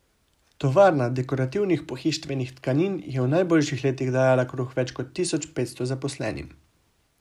Tovarna dekorativnih pohištvenih tkanin je v najboljših letih dajala kruh več kot tisoč petsto zaposlenim.